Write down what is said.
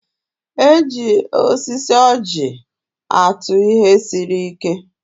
E ji osisi ọ́jị̀ atụ ihe siri ike.